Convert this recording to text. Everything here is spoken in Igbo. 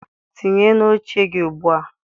tinye na oche gị ugbu a!